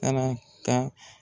Ka na ka